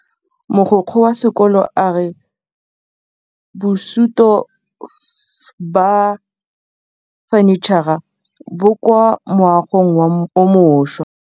Mogokgo wa sekolo a re bosutô ba fanitšhara bo kwa moagong o mošwa.